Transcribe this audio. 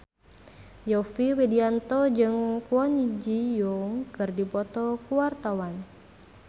Yovie Widianto jeung Kwon Ji Yong keur dipoto ku wartawan